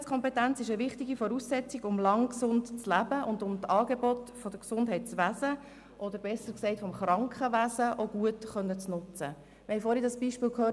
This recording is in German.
Die Gesundheitskompetenz ist eine wichtige Voraussetzung, um lange gesund zu leben und um die Angebote des Gesundheitswesens, oder besser gesagt des Krankenwesens, gut nutzen zu können Wir haben vorhin das Beispiel «Mamamundo» gehört.